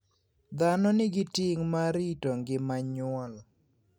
Dhano nigi ting' mar rito ngima nyuol.